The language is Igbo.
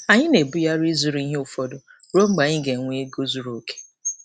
Anyị na-ebugharị ịzụrụ ihe ụfọdụ ruo mgbe anyị ga-enwe ego zuru oke.